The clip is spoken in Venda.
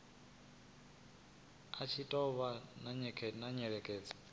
i tshi tou vha nyengedzedzo